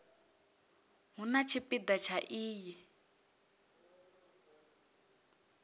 hu na tshipida tsha iyi